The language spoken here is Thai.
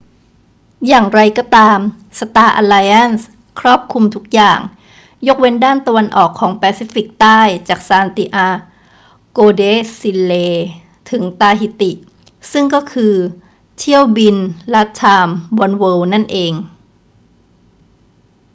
อย่างไรก็ตาม สตาร์อัลไลแอนซ์ครอบคลุมทุกอย่าง ยกเว้นด้านตะวันออกของแปซิฟิกใต้จากซานติอาโกเดชิเลถึงตาฮิติ ซึ่งก็คือเที่ยวบิน latam oneworld นั่นเอง